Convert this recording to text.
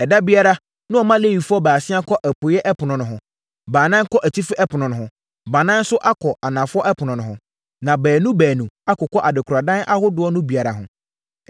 Ɛda biara, na wɔma Lewifoɔ baasia kɔ apueeɛ ɛpono no ho, baanan kɔ atifi ɛpono no ho, baanan nso akɔ anafoɔ ɛpono no ho, na baanu baanu akokɔ adekoradan ahodoɔ no biara ho.